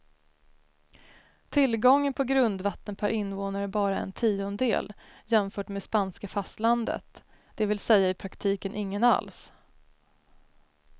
Tillgången på grundvatten per invånare är bara en tiondel jämfört med spanska fastlandet, det vill säga i praktiken ingen alls.